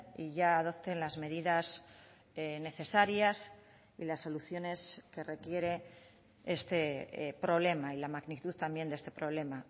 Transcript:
y ya adopten las medidas necesarias y las soluciones que requiere este problema y la magnitud también de este problema